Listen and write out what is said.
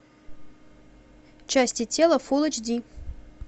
части тела фулл эйч ди